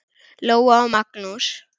Lóa og Magnús.